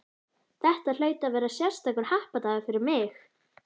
Þetta hlaut að vera sérstakur happadagur fyrir mig.